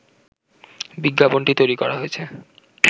বিজ্ঞাপনটি তৈরি করা হয়েছে